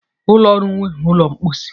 Ulọ ọrụ nwere ụlọ mposi.